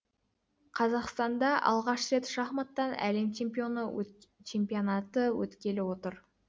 қазақстанда алғаш рет шахматтан әлем чемпионаты өткелі отыр